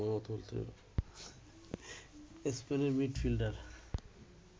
স্পেনের মিডফিল্ডার